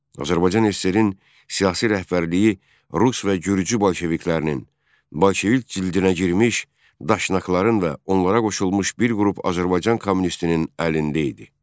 Azərbaycan SSR-in siyasi rəhbərliyi rus və gürcü bolşeviklərinin, bolşevik cildinə girmiş daşnakların və onlara qoşulmuş bir qrup Azərbaycan kommunistinin əlində idi.